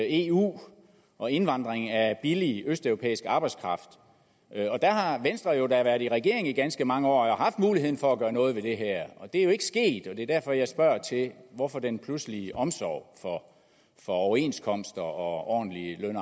eu og indvandring af billig østeuropæisk arbejdskraft og der har venstre jo da været i regering i ganske mange år og har haft muligheden for at gøre noget ved det her og det er jo ikke sket det er derfor jeg spørger hvorfor denne pludselige omsorg for for overenskomster og ordentlige løn